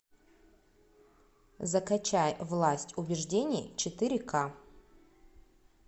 закачай власть убеждений четыре к